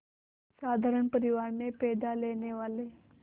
साधारण परिवार में पैदा लेने वाले